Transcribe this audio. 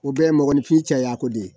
O bɛɛ ye mɔgɔnfin cɛ ye a ko de ye